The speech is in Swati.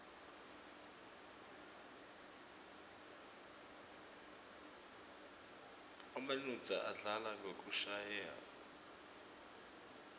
emanuodza adlala ngekushayaua